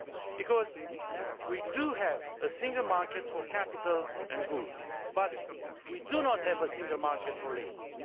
Because we do have a single market for capital and goods, but we do not have a single market for labour.